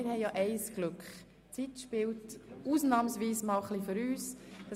Wir haben das Glück, dass die Zeit ausnahmsweise ein wenig für uns spielt.